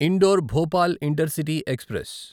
indoor Bhopal intercity express